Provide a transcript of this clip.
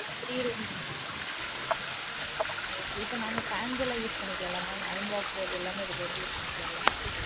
ஆஹ் three rooms okay இப்ப நாங்க fans எல்லாமே use பண்ணிக்கலாம்ல mam iron box அது எல்லாமமே இதுல வந்து use பணிக்கலாம்ல